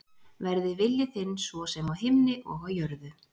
Verði vilji þinn svo sem á himni og á jörðu.